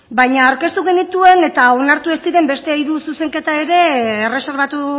baina aurkeztu genituen eta onartu ez diren beste hiru zuzenketa ere erreserbatu